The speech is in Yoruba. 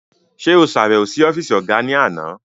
Ṣe o ṣabẹwo si ọfiisi ọga ni àna?